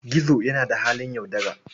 Gizo yana da halin yaudara.